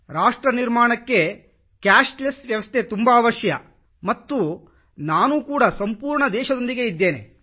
ರಾಷ್ಟ್ರ ನಿರ್ಮಾಣಕ್ಕೆ ಕ್ಯಾಶ್ಲೆಸ್ ವ್ಯವಸ್ಥೆ ತುಂಬಾ ಅವಶ್ಯ ಮತ್ತು ನಾನು ಕೂಡ ಸಂಪೂರ್ಣ ದೇಶದೊಂದಿಗೆ ಇದ್ದೇನೆ